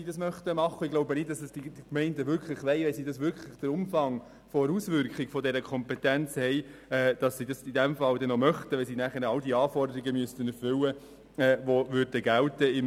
Ich glaube nicht, dass die Gemeinden das wirklich wollen, wenn sie den Umfang der Auswirkungen dieser Kompetenz und alle Anforderungen sehen, die dann gelten würden und die sie erfüllen müssten.